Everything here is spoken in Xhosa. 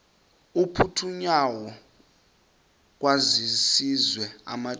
aphuthunywayo kwaziswe amadoda